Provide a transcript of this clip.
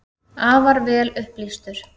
Afar vel upplýstur.